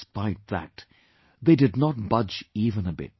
despite that, they did not budge even a bit